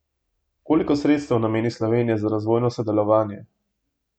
Koliko sredstev nameni Slovenija za razvojno sodelovanje?